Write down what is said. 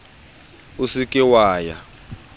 o se ke wa ya